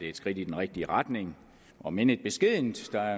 et skridt i den rigtige retning om end et beskedent skridt